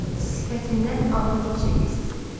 Sifətindən ağır keçirdiyi sezilirdi.